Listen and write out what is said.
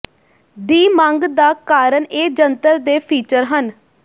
ਦੀ ਮੰਗ ਦਾ ਕਾਰਨ ਇਹ ਜੰਤਰ ਦੇ ਫੀਚਰ ਹਨ